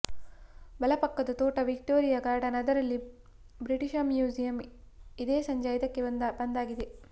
ಬಲಪಕ್ಕದ ತೋಟ Victoria Garden ಅದರಲ್ಲಿ British Museum ಇದೆ ಸಂಜೆ ಐದಕ್ಕೆ ಬಂದಾಗಿದೆ